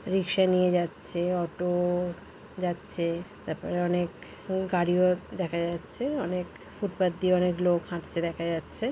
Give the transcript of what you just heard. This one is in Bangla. রিক্সা নিয়ে যাচ্ছে অটো-ও যাচ্ছে তারপরে অনেক গাড়িও দেখা যাচ্ছে অনেক ফুটপাত দিয়ে অনেক লোক হাঁটছে দেখা যাচ্ছে।